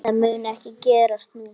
Það mun ekki gerast nú.